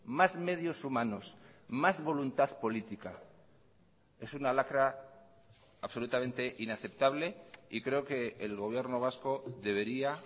más medios humanos más voluntad política es una lacra absolutamente inaceptable y creo que el gobierno vasco debería